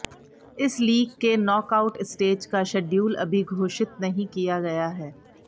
इस लीग के knock out stage का शेड्यूल अभी घोषित नहीं किया गया है